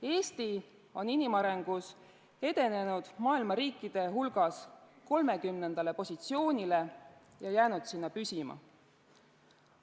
Eesti on inimarengus edenenud maailma riikide hulgas 30. positsioonile ja jäänud sinna püsima.